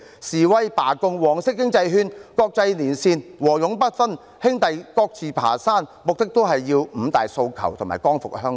示威、罷工、黃色經濟圈、國際連線、和勇不分，兄弟各自爬山，目的都是爭取"五大訴求"和"光復香港"。